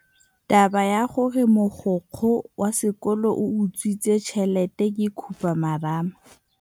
Taba ya gore mogokgo wa sekolo o utswitse tšhelete ke khupamarama.